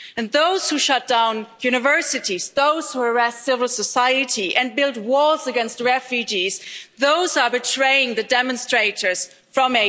Those who shut down universities, those who arrest civil society and build walls against refugees, they are betraying the demonstrators from